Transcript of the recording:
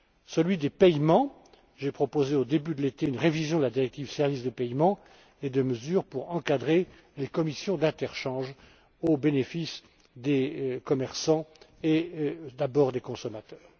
Celui des paiements j'ai proposé au début de l'été une révision de la directive sur les services et paiements et des mesures pour encadrer les commissions d'interchange au bénéfice des commerçants et tout d'abord des consommateurs.